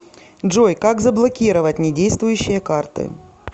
джой как заблокировать не действующие карты